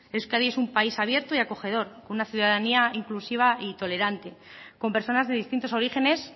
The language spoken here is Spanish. euskadi es un país abierto y acogedor una ciudadanía inclusiva y tolerante con personas de distintos orígenes